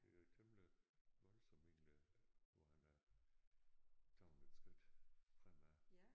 Det er temmelig voldsomt egentlig hvor han er taget et skridt fremad